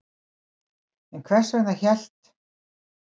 En hvers vegna hélt